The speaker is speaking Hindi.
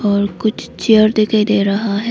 और कुछ चेयर दिखाई दे रहा है।